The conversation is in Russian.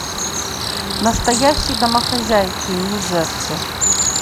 настоящие домохозяйки нью джерси